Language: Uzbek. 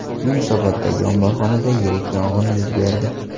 Yunusoboddagi omborxonada yirik yong‘in yuz berdi .